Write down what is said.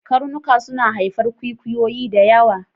Karnuka suna haifar kwikwiyo da yawa